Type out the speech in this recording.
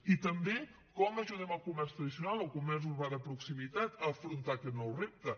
i també com ajudem el comerç tradicional el comerç urbà de proximitat a afrontar aquest nou repte